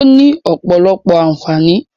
Ó ní ọ̀pọ̀lọpọ̀ àǹfààní.